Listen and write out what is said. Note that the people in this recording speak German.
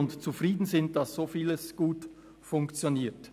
wir sind damit zufrieden, dass so vieles gut funktioniert.